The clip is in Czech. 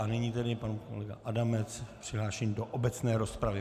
A nyní tedy pan kolega Adamec přihlášený do obecné rozpravy.